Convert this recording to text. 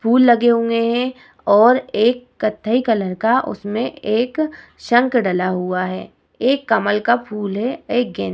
फूल लगे हुए हैं और एक कथई कलर का उसमें एक शंख डला हुआ है एक कमल का फूल है एक गेंद --